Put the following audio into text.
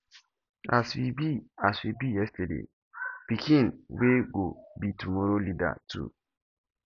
as we be as we be yesterday pikin we go be tomorrow elder too